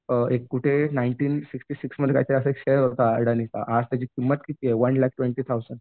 एक कुठे nineteen sixty six मध्ये काय काय असा शेअर होता अदानीचा आज त्याची किंमत किती आहे वन लॅकः ट्वेन्टी थाउझंड